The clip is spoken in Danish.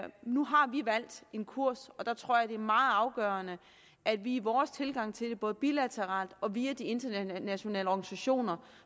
nu har vi valgt en kurs og der tror jeg det er meget afgørende at vi i vores tilgang til det både bilateralt og via de internationale organisationer